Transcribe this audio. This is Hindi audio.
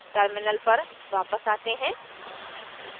terminal पर वापस आते हैं